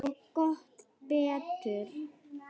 Og gott betur.